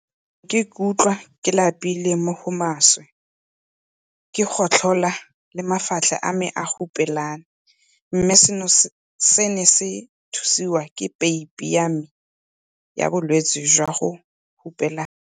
Ke ne ke ikutlwa ke lapile mo go maswe, ke gotlhola le mafatlha a me a hupelane, mme seno se ne se thusiwa ke peipi ya me ya bolwetse jwa go hupelana.